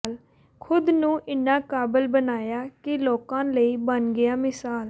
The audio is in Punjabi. ਖ਼ੁੁਦ ਨੂੰ ਇੰਨਾ ਕਾਬਲ ਬਣਾਇਆ ਕਿ ਲੋਕਾਂ ਲਈ ਬਣ ਗਿਆ ਮਿਸਾਲ